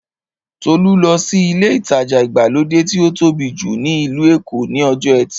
Tolú lọ sí ilé ìtajà ìgbàlódé tí ó tóbi jù ní ìlú Èkó ní ọjọ́ ẹtì